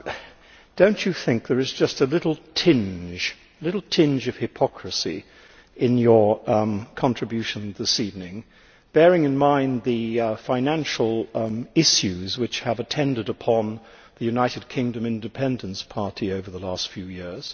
Lord Dartmouth, do you not think there is just a little tinge of hypocrisy in your contribution this evening, bearing in mind the financial issues which have attended upon the United Kingdom Independence Party over the last few years?